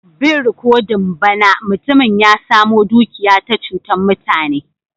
Bin rikodin ba na, mutumin ya samo dukiya ta chutan mutane.